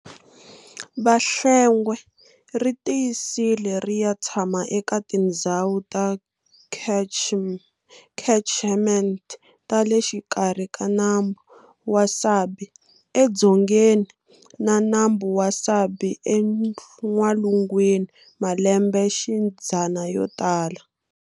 Vahlengwe ri tiyisile riya tshama eka tindzhawu ta catchments ta le xikarhi ka nambu wa Sabie eDzongeni na Nambu wa Sabie eN'walungwini malembexidzana yo tala.